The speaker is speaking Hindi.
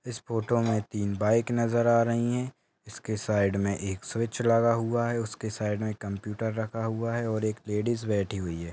इस फोटो मे तीन बाइक नजर आ रही है उसके साइड मे एक स्विच लगा हुआ है उसके साइड मे कम्प्युटर रखा हुआ है और एक लेडिज बैठी हुए है।